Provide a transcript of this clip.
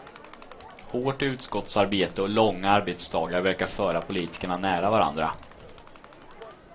Hårt utskottsarbete och långa arbetsdagar verkar föra politikerna nära varandra.